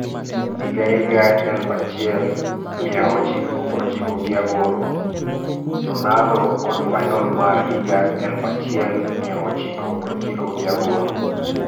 Higa higa elufu achiel mia ochiko prochiko giaboro - Ronaldo kod Final mar higa elufu achiel mia ochiko prochiko giaboro.